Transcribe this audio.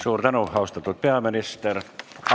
Suur tänu, austatud peaminister!